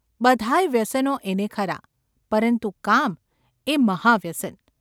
બધાંય વ્યસનો એને ખરાં, પરંતુ ‘કામ’એ એનું મહાવ્યસન.